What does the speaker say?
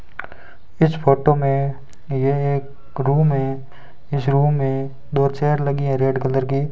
इस फोटो में यह एक रूम है इस रूम में दो चेयर लगी है रेड कलर की --